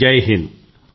జైహింద్